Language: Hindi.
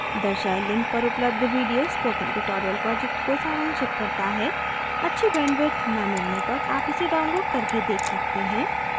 दर्शाये link पर उपलब्ध video spoken tutorial project को सारांशित करता है अच्छी bandwidth न मिलने पर आप इसे download करके देख सकते हैं